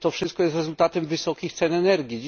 To wszystko jest rezultatem wysokich cen energii.